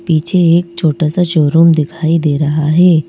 पीछे एक छोटा सा शोरूम दिखाई दे रहा है।